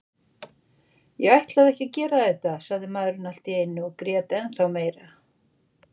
Ég ætlaði ekki að gera þetta, sagði maðurinn allt í einu og grét ennþá meira.